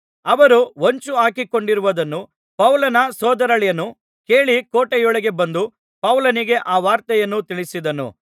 ಅವರು ಹೊಂಚು ಹಾಕಿಕೊಂಡಿರುವುದನ್ನು ಪೌಲನ ಸೋದರಳಿಯನು ಕೇಳಿ ಕೋಟೆಯೊಳಗೆ ಬಂದು ಪೌಲನಿಗೆ ಆ ವಾರ್ತೆಯನ್ನು ತಿಳಿಸಿದನು